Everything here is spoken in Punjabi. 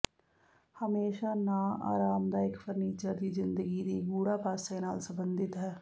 ਹਮੇਸ਼ਾ ਨਾ ਆਰਾਮਦਾਇਕ ਫਰਨੀਚਰ ਦੀ ਜ਼ਿੰਦਗੀ ਦੀ ਗੂੜ੍ਹਾ ਪਾਸੇ ਨਾਲ ਸੰਬੰਧਿਤ ਹੈ